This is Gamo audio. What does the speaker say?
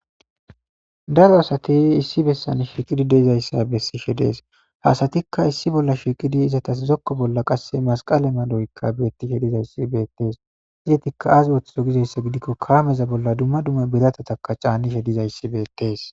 Daro asati issi besan shiiqidi dizaysa beses ha asatika issi bola shiiqidi dizaysatas eta zoko bola Kase masqale maloyka beetishe de'es eetika aazi oothiyo gizaysa gidiko kaameza bola duma duma biratata caanishe dizaysika beetes.